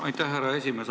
Aitäh, härra esimees!